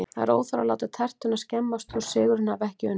Það er óþarfi að láta tertuna skemmast þótt sigurinn hafi ekki unnist